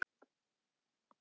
Þá flautar hann og veifar.